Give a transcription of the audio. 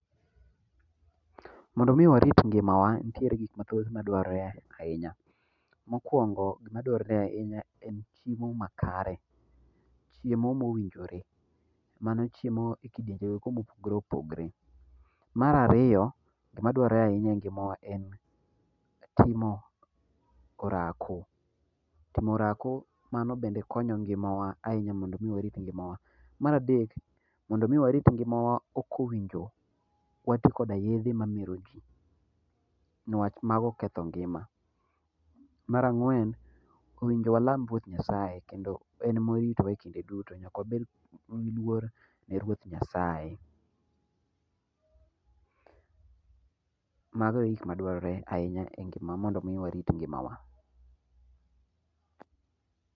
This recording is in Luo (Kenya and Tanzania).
Mondo mi warit ngimawa, nitiere gik mathoth madwarore ahinya. Mokwongo, gimadwarore ahinya en chiemo makare, chiemo mowinjore. Mano chiemo e kidienje go eko mopogore opogre. Mar ariyo, gimadwarore ahinya e ngimawa en timo orako, timo oako mano bende konyo ngimawa ahinya mondo mi warit ngimawa. Mar adek, mondo mi warit ngimawa ok owinjo wati koda yedhe mamero jii niwach mago ketho ngima. Mar ang'wen, owinjo walam Ruoth Nyasaye kendo en moritowa e kinde duto nyaka wabed gi luor ne Ruoth Nyasaye mago e gik madwarore ahinya e ngima mondo mi warit ngima wa